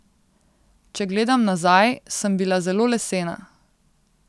Če gledam nazaj, sem bila zelo lesena.